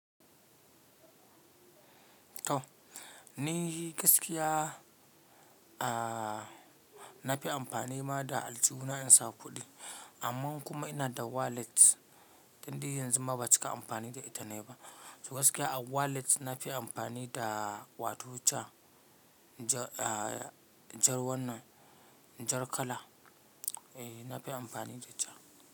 To, ni gaskiya a na fi amfani ma da aljihu na in sa kuɗi. Amma kuma ina da wallet ɗin da yanzu ma ba cika amfani da ita na ba. To gaskiya a wallet na fi amfani da wato can jar wannan jar kala, eh na fi amfani da ja.